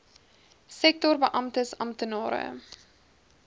sektor beamptes amptenare